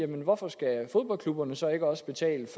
hvorfor skal fodboldklubberne så ikke også betale